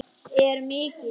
er mikill.